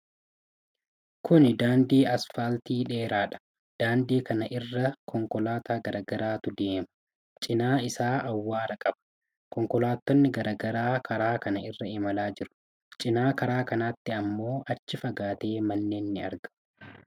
Kuni daandii asfaaltii dheeraadha. Daandii kana irra konkolaataa garaa garaatu deema. Cinaan isaa awwaara qaba. Konkolaattonni garaa garaa kara kana irra imalaa jiru. Cinaa karaa kanatti ammoo achi fagaate manneen ni argamu.